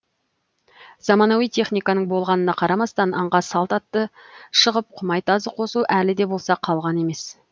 заманауи техниканың болғанына қарамастан аңға салт атты шығып құмай тазы қосу әлі де болса қалған емес